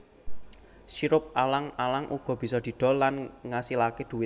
Sirup alang alang uga bisa didol lan ngasilaké dhuwit